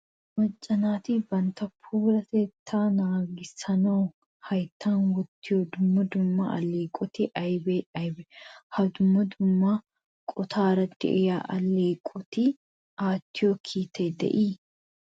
Macca naati bantta puulatettaa nagissanawu hayttan wottiyo dumma dumma alleeqoti aybee aybee? Ha dumma dumma qottaara de'iya alleeqoti aattiyo kiitay de'ii?